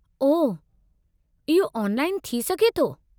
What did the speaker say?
ओह, इहो ऑनलाइनु थी सघे थो?